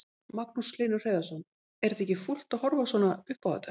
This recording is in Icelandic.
Magnús Hlynur Hreiðarsson: Er þetta ekki fúlt að horfa svona upp á þetta?